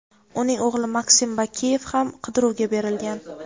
uning o‘g‘li Maksim Bakiyev ham qidiruvga berilgan.